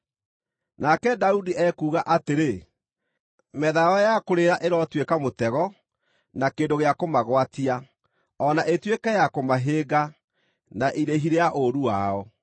Nake Daudi ekuuga atĩrĩ: “Metha yao ya kũrĩĩra ĩrotuĩka mũtego, na kĩndũ gĩa kũmagwatia, o na ĩtuĩke ya kũmahĩnga, na irĩhi rĩa ũũru wao.